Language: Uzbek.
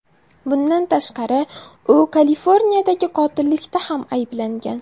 Bundan tashqari u Kaliforniyadagi qotillikda ham ayblangan.